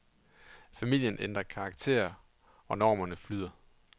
Familien ændrer karakter, og normerne flyder.